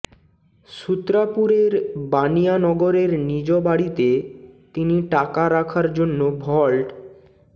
সূত্রাপুরের বানিয়া নগরের নিজ বাড়িতে তিনি টাকা রাখার জন্য ভল্ট